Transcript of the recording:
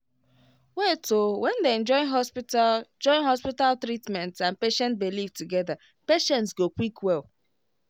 wait o when dem join hospital join hospital treatment and patient belief together patients go quick well